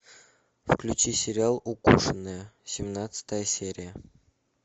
включи сериал укушенная семнадцатая серия